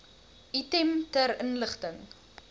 item ter inligting